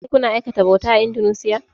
Shin kuna aikata bauta a Indunusiya?